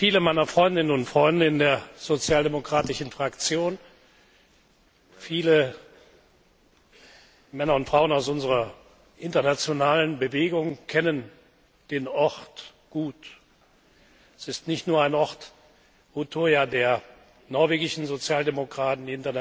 Viele meiner Freundinnen und Freunde in der Sozialdemokratischen Fraktion, viele Männer und Frauen aus unserer internationalen Bewegung kennen den Ort gut Utøya ist nicht nur ein Ort der norwegischen Sozialdemokraten